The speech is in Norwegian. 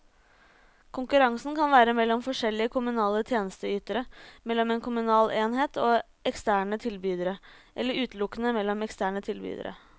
Konkurransen kan være mellom forskjellige kommunale tjenesteytere, mellom en kommunal enhet og eksterne tilbydere, eller utelukkende mellom eksterne tilbydere.